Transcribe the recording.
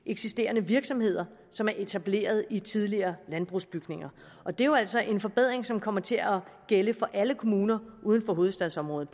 eksisterende virksomheder som er etableret i tidligere landbrugsbygninger og det er jo altså en forbedring som kommer til at gælde for alle kommuner uden for hovedstadsområdet